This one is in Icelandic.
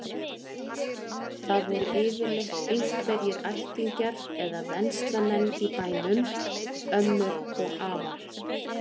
Það voru yfirleitt einhverjir ættingjar eða venslamenn í bænum, ömmur og afar.